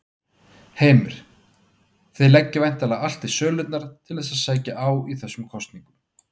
Heimir: Þið leggið væntanlega allt í sölurnar til þess að sækja á í þessum kosningum?